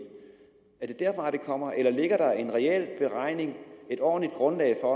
er det derfra det kommer eller ligger der en reel beregning et ordentligt grundlag for